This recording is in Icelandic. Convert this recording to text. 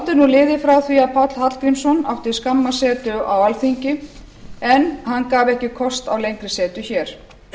er nú liðið frá því að páll hallgrímsson átti skamma setu á alþingi en hann gaf ekki kost á lengri setu hér